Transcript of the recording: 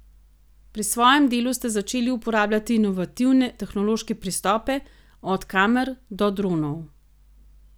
Pri svojem delu ste začeli uporabljati inovativne tehnološke pristope, od kamer do dronov.